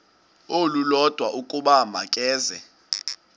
olulodwa ukuba makeze